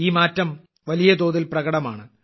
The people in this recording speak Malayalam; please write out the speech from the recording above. ഈ മാറ്റം വലിയതോതിൽ പ്രകടമാണ്